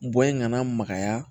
Bɔ in kana magaya